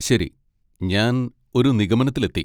ശരി, ഞാൻ ഒരു നിഗമനത്തിലെത്തി.